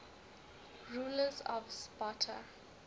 rulers of sparta